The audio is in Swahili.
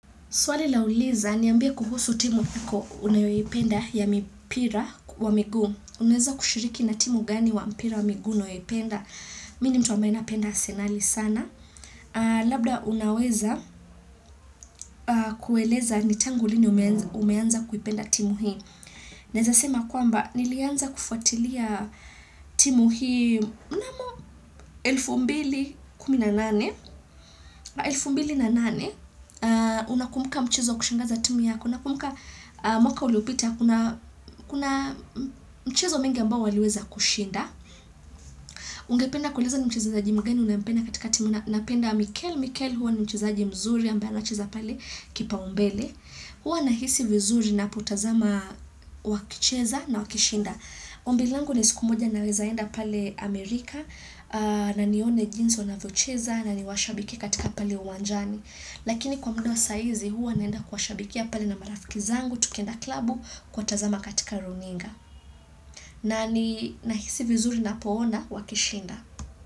Swali nauliza, niambie kuhusu timu iko unayoipenda ya mipira wa miguu. Unaweza kushiriki na timu gani wa mpira wa miguu unayoipenda. Mini ni mtu ambaye napenda arsenali sana. Labda unaweza kueleza ni tangu lini umeanza kuipenda timu hii. Naweza sema kwamba, nilianza kufuatilia timu hii mnamo 2018. 2008, unakumbuka mchezo wa kushangaza timu yako. Unakumbuka mwaka uliopita, kuna mchezo mengi ambao waliweza kushinda. Ungependa kueleza ni mchezaji mgani unayempenda katika timu. Napenda Mikel, Mikel huwa ni mchezaji mzuri ambaye ana cheza pale kipa umbele. Huwa nahisi vizuri ninapotazama wakicheza na wakishinda. Ombi langu ni siku moja nawezaenda pale Amerika na nione jinsi wanavyocheza na niwashabiki katika pale uwanjani. Lakini kwa mda wa saa hizi huwa naenda kwa shabikia pale na marafiki zangu tukienda klabu kuwatazama katika runinga. Na ninahisi vizuri ninapoona wakishinda.